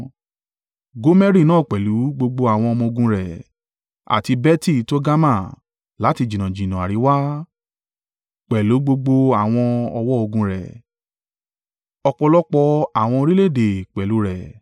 Gomeri náà pẹ̀lú gbogbo àwọn ọmọ-ogun rẹ̀, àti Beti-Togarma láti jìnnàjìnnà àríwá pẹ̀lú gbogbo àwọn ọ̀wọ́ ogun rẹ̀—ọ̀pọ̀lọpọ̀ àwọn orílẹ̀-èdè pẹ̀lú rẹ̀.